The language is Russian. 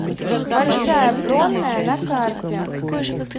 большая бронная на карте